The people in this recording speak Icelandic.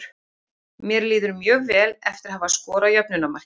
Mér líður mjög vel eftir að hafa skorað jöfnunarmarkið.